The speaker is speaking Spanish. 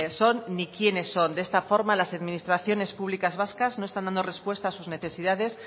son ni quiénes son de esta forma las administraciones públicas vascas no están dando respuesta a sus necesidades